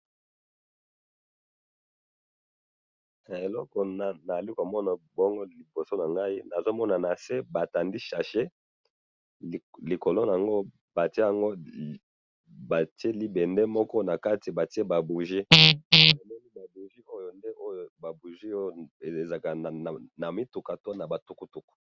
Na moni sachet bati likolo nango ba bougies ya mutuka to tukutuku.